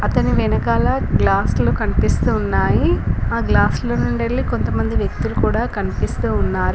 అతని వెనకాల గ్లాస్లు కన్పిస్తూ ఉన్నాయి ఆ గ్లాస్ ల నుండెల్లి కొంతమంది వ్యక్తులు కూడా కన్పిస్తూ ఉన్నారు.